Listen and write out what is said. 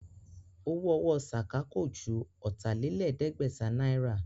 Owó ọwọ́ Sàká kò ju Ọ̀tàlẹ̀ẹ́dẹ́gbẹ̀ta náírà